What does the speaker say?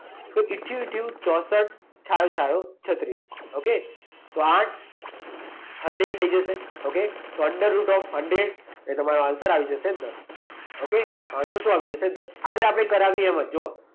તો ઈથયું ઈથયું ચોંસઠ, છાયું છાયું છત્રીસ ઓકે? તો આઠ હન્ડ્રેડ થઈ જશે ઓકે? તો અંદરરુટ ઑફ હન્ડ્રેડ. એટલે તમારો આન્સર આવી જશે દસ. ઓકે? આન્સર શું આવી જશે? દસ. આગળ આપણે કરાવીએ એમજ જુઓ.